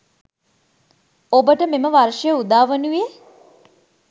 ඔබට මෙම වර්ෂය උදා වනුයේ